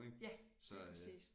Ja lige præcis